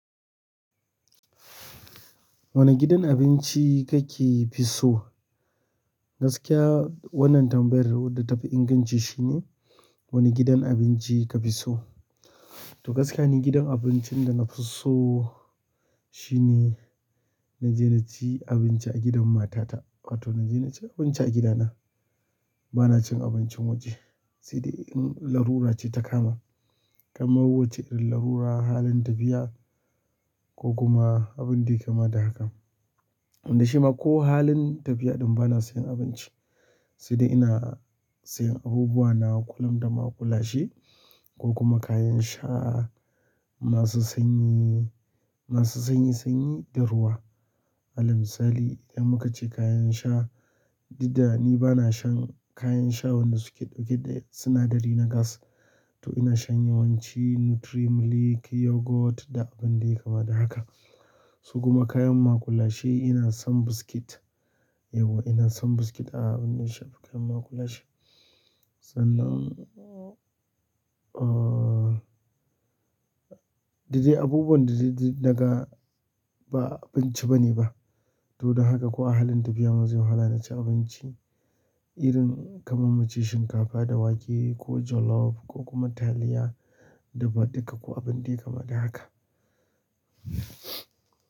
Wane gidan abinci ka ke fi so? Gaskiya wannan tambayar wadda ta fi inganci shi ne wani gidan abinci ka fi so? To gaskiya ni gidan abincin da na fi so shi ne na je na ci abinci a gidan matata, wato na je na ci abinci a gidana. Bana cin abincin waje, sai dai in larura ce ta kama, kamar wucce irin larura, halin tafiya ko kuma abin da yai kama da hakan. Inda shi ma ko halin tafiya ɗin ba na sayan abinci, sai dai ina sayan abubuwa na kullum da maƙulashe, ko kuma kayan sha masu sanyi, masu sanyi sanyi da ruwa. Alal misali idan mu ka ce kayan sha, dud da ni bana shan kayan sha wadda su ke ɗauke da sinadari na gas to ina shan yawanci NutriMilk, yogurt da abin da yai kama da haka. Su kuma kayan maƙulashe ina son biscuit. Eh ina son biscuit a abin da ya shafi kayan maƙulashe. Sannan, ah da de abubuwan da de na ga ba abinci bane ba. To don haka ko a halin tafiya ma zai yi wahala na ci abinci, irin kamar mu ce shinkafa da wake ko jollof ko kuma taliya dafa-duka ko abun da yai kama da haka.